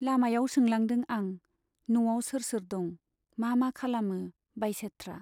लामायाव सोंलांदों आं, न' आव सोर सोर दं, मा मा खालामो बाइसेथ्रा।